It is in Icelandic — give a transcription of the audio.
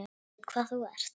Ég veit hvað þú ert.